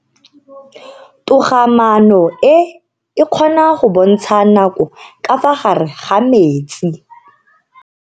Togamaano e, e kgona go bontsha nako ka fa gare ga metsi.